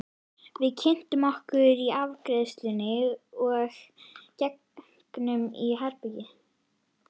Við kynntum okkur í afgreiðslunni og gengum inn í herbergið.